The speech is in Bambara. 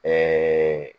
Ɛɛ